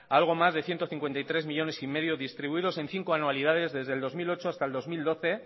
a algo más de ciento cincuenta y tres coma cinco millónes distribuidos en cinco anualidades desde el dos mil ocho hasta el dos mil doce